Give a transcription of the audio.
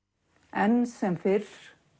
enn sem fyrr